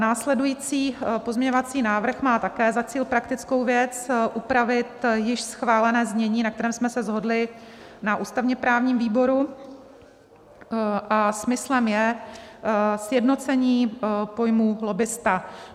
Následující pozměňovací návrh má také za cíl praktickou věc - upravit již schválené znění, na kterém jsme se shodli na ústavně-právním výboru, a smyslem je sjednocení pojmu lobbista.